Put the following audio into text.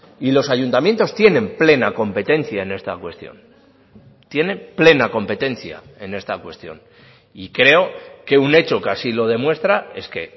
y los ayuntamientos tienen plena competencia en esta cuestión tienen plena competencia en esta cuestión y creo que un hecho que así lo demuestra es que